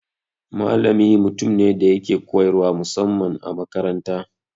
Malami mutum ne da yake koyarwa musamman a makaranta.